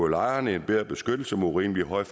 lejerne en bedre beskyttelse mod urimelig høje